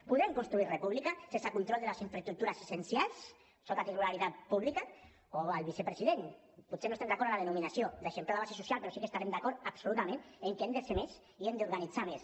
podrem construir república sense control de les infraestructures essencials sota titularitat pública o al vicepresident potser no estem d’acord en la denominació de eixamplar la base social però sí que deurem estar d’acord absolutament en que hem de ser més i hem d’organitzar nos més